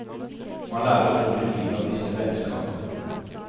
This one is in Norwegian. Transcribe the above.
Man lærer utrolig mye av disse vennskapene.